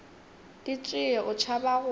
di tšee o tšhaba go